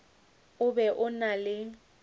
o be o na le